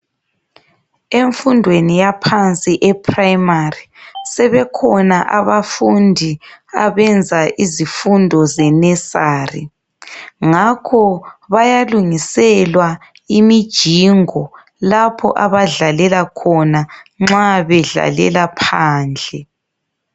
Emfundweni yaphansi eprimary, sebekhona abafundi abenza izifundo ze nursery. Ngakho bayalungiselwa imijingo lapho abadlalela khona nxa bedlalela phandle.